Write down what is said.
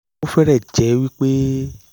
ó fẹ́rẹ̀ẹ́ jẹ́ wipé